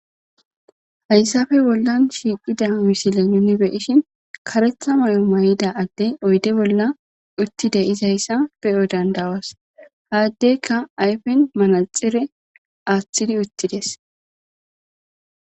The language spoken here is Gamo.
Hayssafe bollan shiiqida misile nuni beishin karetha mayo may'ida adde oyde bolla uttide izayssa beyo dandawas haaddeykka ayfen manaxire aaththidi uttides.